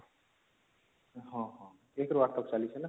ହଁ ହଁ ୧ ରୁ ୮ ତକ ଚାଲିଛି ନା